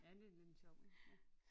Ja det er lidt en sjov en